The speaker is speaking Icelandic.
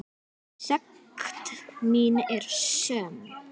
Sekt mín er söm.